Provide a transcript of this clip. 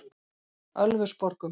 Ölfusborgum